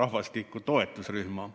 rahvastiku toetusrühma.